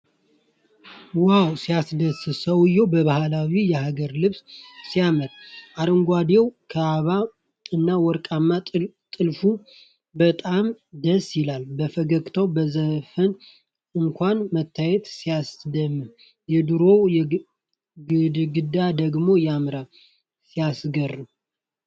ዋው! ሲያስደስት! ሰውዬው በባህላዊ የሀገር ልብስ ሲያምር! አረንጓዴው ካባ እና ወርቃማ ጥልፍ በጣም ደስ ይላሉ። በፈገግታና በዘፈን አኳኋን መታየቱ ሲያስደምም! የድሮው ግድግዳ ደግሞ ያምራል። ሲያስገርም!